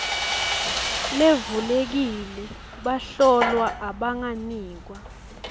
levulekile bahlolwa abanganikwa